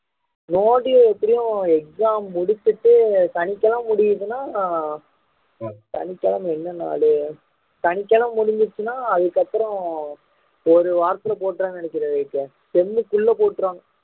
no due எப்படியும் exam முடிச்சிட்டு சனிக்கிழமை முடியுதுன்னா சனிக்கிழமை என்ன நாளு சனிக்கிழமை முடிஞ்சிருச்சுன்னா அதுக்கப்புறம் ஒரு வாரத்துல போட்டுருவாங்கன்னு நினைக்கிறேன் விவேக்கு ten குள்ள போட்டுருவாங்க